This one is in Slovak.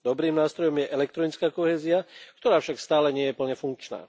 Dobrým nástrojom je elektronická kohézia, ktorá však stále nie je plne funkčná.